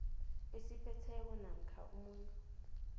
esiphetheko namkha umuntu